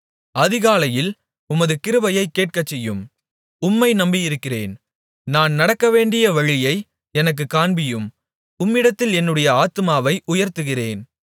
அதிகாலையில் உமது கிருபையைக் கேட்கச்செய்யும் உம்மை நம்பியிருக்கிறேன் நான் நடக்கவேண்டிய வழியை எனக்குக் காண்பியும் உம்மிடத்தில் என்னுடைய ஆத்துமாவை உயர்த்துகிறேன்